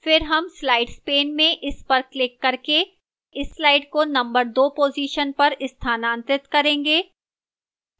फिर हम slides pane में इस पर क्लिक करके इस slide को नंबर 2 position पर स्थानांतरित करेंगे